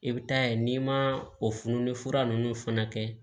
I bɛ taa ye n'i ma o fununni fura ninnu fana kɛ